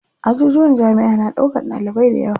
Ajujuwan jamiʼa na ɗaukan ɗalibai dayawa.